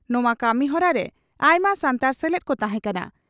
ᱱᱚᱣᱟ ᱠᱟᱹᱢᱤ ᱦᱚᱨᱟ ᱨᱮ ᱟᱭᱢᱟ ᱥᱟᱱᱛᱟᱲ ᱥᱮᱞᱮᱫ ᱠᱚ ᱛᱟᱦᱮᱸ ᱠᱟᱱᱟ ᱾